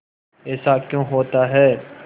ऐसा क्यों होता है